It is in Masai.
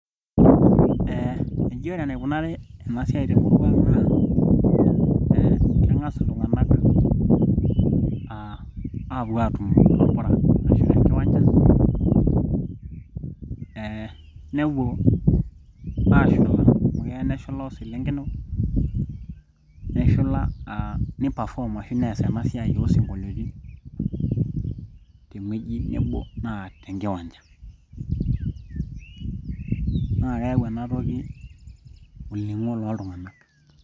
eh eji ore enikunari ena siai temurua ang naa eh keng'as iltung'anak aapuo atumo torpura ashu tenkiwanja eh nepuo ashula amu keya neshula oselenken neshula uh nipafom ashu nees ena siai oosinkoliotin teng'ueji nebo naa tenkiwanjanaa keyau enatoki olning'o loltung'anak .